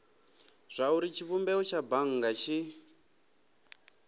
zwauri tshivhumbeo tsha bannga tshi